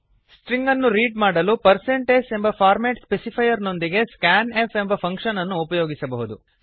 string ಅನ್ನು read ಮಾಡಲು percent s ಎಂಬ ಫಾರ್ಮ್ಯಾಟ್ ಸ್ಪೆಸಿಫೈರ್ ನೊಂದಿಗೆ ಸ್ಕ್ಯಾನ್ ಎಫ್ ಫಂಕ್ಷನ್ ಅನ್ನು ಉಪಯೋಗಿಸಬಹುದು